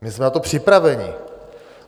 My jsme na to připraveni.